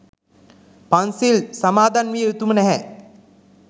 පන්සිල් සමාදන්විය යුතුම නැහැ.